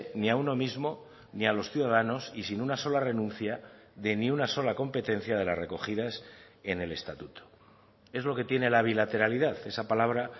ni a uno mismo ni a los ciudadanos y sin una sola renuncia de ni una sola competencia de las recogidas en el estatuto es lo que tiene la bilateralidad esa palabra